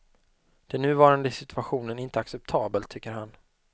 Den nuvarande situationen är inte acceptabel, tycker han.